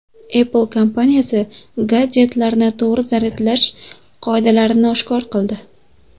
Apple kompaniyasi gadjetlarni to‘g‘ri zaryadlash qoidalarini oshkor qildi.